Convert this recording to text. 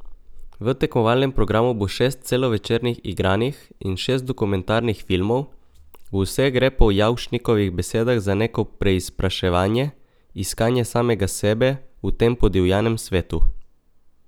V tekmovalnem programu bo šest celovečernih igranih in šest dokumentarnih filmov, v vseh gre po Javšnikovih besedah za neko preizpraševanje, iskanje samega sebe v tem podivjanem svetu.